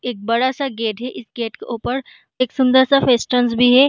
एक बड़ा सा गेट है | इस गेट के ऊपर एक सुन्दर सा भी है |